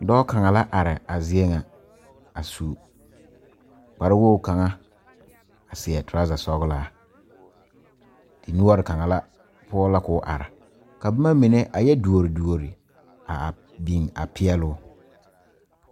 Dɔɔ kaŋa la are a zie kaŋa a su kpare wogi kaŋa a seɛ tɔreza sɔglaa noɔre kaŋa la poɔ la ko'o are ka boma mine a yɛ dore dore a a biŋ a peɛluu.